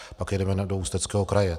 Pak jedeme do Ústeckého kraje.